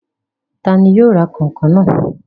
Ta ni yóò ra kànkàn náà?